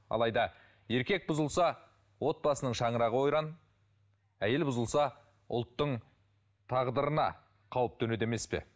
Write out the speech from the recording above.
алайда еркек бұзылса отбасының шаңырағы ойран әйел бұзылса ұлттың тағдырына қауіп төнеді емес пе